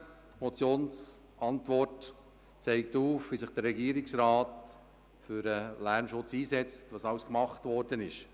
Die Motionsantwort zeigt auf, wie sich der Regierungsrat für den Lärmschutz einsetzt und was alles unternommen worden ist.